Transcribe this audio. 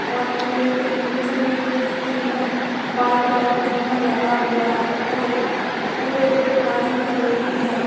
और पेड़ के निचले हिस्से में वाइट वाइट चुना लगा हुआ है और पूरे बाजू में रेलिंग है।